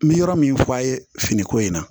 N bɛ yɔrɔ min f'a' ye fini ko in na